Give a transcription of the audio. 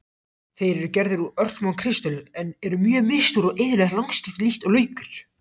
Þeir eru gerðir úr örsmáum kristöllum, eru mjög misstórir og iðulega lagskiptir líkt og laukur.